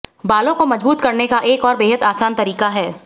बालो को मजबूत करने का एक और बेहद आसान तरीका है